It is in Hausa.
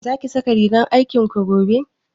Za ki sa rigar aikin ki gobe?